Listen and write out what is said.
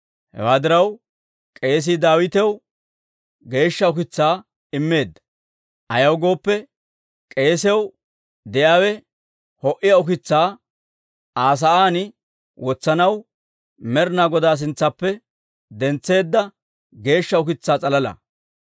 Hewaa diraw, k'eesii Daawitaw geeshsha ukitsaa immeedda; ayaw gooppe, k'eesiyaw de'iyaawe ho"iyaa ukitsaa Aa sa'aan wotsanaw Med'inaa Godaa sintsaappe dentseedda geeshsha ukitsaa s'alala.